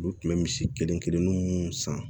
Olu tun bɛ misi kelen kelennin mun san